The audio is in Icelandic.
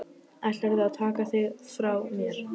Ætlarðu að taka þig frá mér?